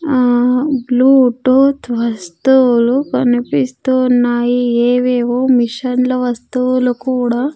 ఆ బ్లూటూత్ వస్తువులు కనిపిస్తూ ఉన్నాయి ఏవేవో మెషిన్ల వస్తువులు కూడా--